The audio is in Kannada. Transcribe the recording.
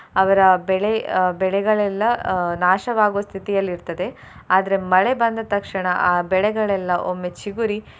ಅವರ ಬೆಳೆ ಅಹ್ ಬೆಳೆಗಳೆಲ್ಲ ಅಹ್ ನಾಶವಾಗುವ ಸ್ಥಿತಿಯಲ್ಲಿ ಇರ್ತದೆ ಆದ್ರೆ ಮಳೆ ಬಂದ ತಕ್ಷಣ ಆ ಬೆಳೆಗಳೆಲ್ಲ ಒಮ್ಮೆ ಚಿಗುರಿ.